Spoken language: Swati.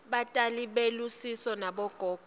batali belusiso nabogogo